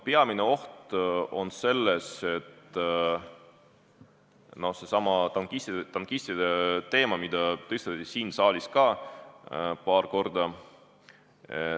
Peamine oht on seesama tankistide teema, mida tõstatati siin saalis ka paar korda.